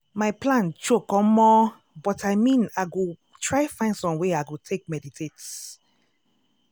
my plan choke omo!!! but i mean i go try find time wey i go take meditate.